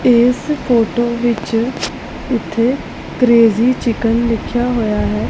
ਇਸ ਫੋਟੋ ਵਿੱਚ ਇੱਥੇ ਕ੍ਰੇਜ਼ੀ ਚਿਕਨ ਲਿੱਖਿਆ ਹੋਇਆ ਹੈ।